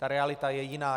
Ta realita je jiná.